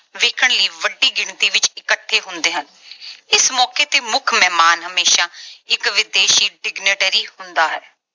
ਵੇਖਣ ਲਈ ਵੱਡੀ ਗਿਣਤੀ ਵਿੱਚ ਇੱਕਠੇ ਹੁੰਦੇ ਹਨ। ਇਸ ਮੌਕੇ ਤੇ ਮੁੱਖ ਮਹਿਮਾਨ ਹਮੇਸ਼ਾ ਇਕ ਵਿਦੇਸ਼ੀ signatory ਹੁੰਦਾ ਹੈ।